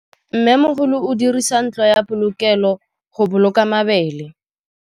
Mmêmogolô o dirisa ntlo ya polokêlô, go boloka mabele.